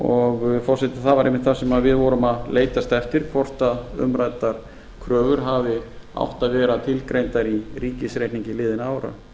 ára forseti það var einmitt það sem við vorum að leitast eftir hvort umræddar kröfur hafi átt að vera tilgreindar í ríkisreikningi liðinna ára